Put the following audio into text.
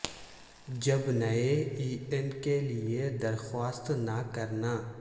جب نئے E N کے لئے درخواست نہ کرنا